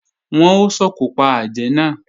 Wọ́n ó sòkò pa àjẹ́ náà